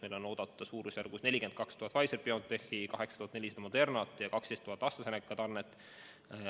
Meil on oodata suurusjärgus 42 000 Pfizer/BioNTechi, 8400 Moderna ja 12 000 AstraZeneca doosi.